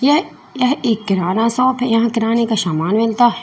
यह एक किराना शॉप है यहां कराने का सामान मिलता है।